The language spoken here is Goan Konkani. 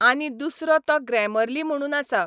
आनी दुसरो तो ग्रॅमर्ली म्हणून आसा.